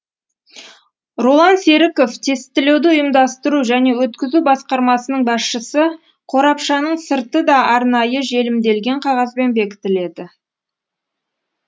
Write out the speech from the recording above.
роллан серіков тестілеуді ұйымдастыру және өткізу басқармасының басшысы қорапшаның сырты да арнайы желімделген қағазбен бекітіледі